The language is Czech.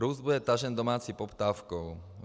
Růst bude tažen domácí poptávkou.